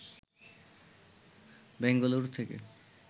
ব্যাঙ্গালোর থেকে